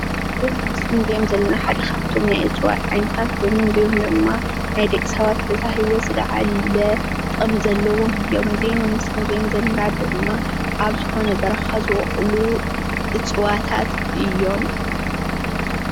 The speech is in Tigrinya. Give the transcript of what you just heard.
እዚኦም ኣብ ምስሊ እንሪኦም ዘለና ሓደ ኻፍቶም ናይ እፅዋት ዓይነታት ኾይኖም እዚኦም ድማ ንናይ ደቅሰባት ብዝሃሂወት ዝለዓለ ጥቅሚ ዘለዎም እዮም ።ዝኾነ በረኻታት ዝቦቁሉ እፅዋታት እዮም።